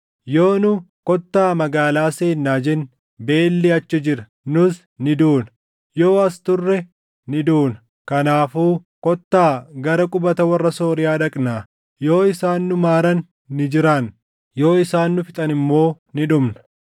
Yoo nu, ‘Kottaa magaalaa seennaa’ jenne, beelli achi jira; nus ni duuna. Yoo as turre ni duuna. Kanaafuu kottaa gara qubata warra Sooriyaa dhaqnaa. Yoo isaan nu maaran ni jiraanna; yoo isaan nu fixan immoo ni dhumna.”